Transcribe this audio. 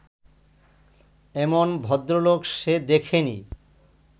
এমন ভদ্রলোক সে দেখেনি